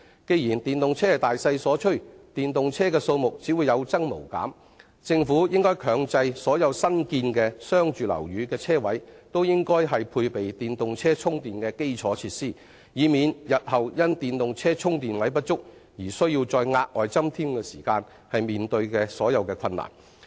既然電動車是大勢所趨，電動車數目只會有增無減，政府應強制所有新建的商住樓宇的車位均須配備電動車充電的基礎設施，以免除日後因電動車充電位不足而須再額外增添時的困難。